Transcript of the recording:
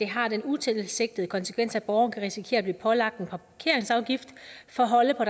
har den utilsigtede konsekvens at en borger kan risikere at blive pålagt en parkingsafgift for at holde på